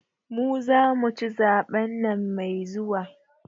mu zamu ci zaben nan mai zuwa.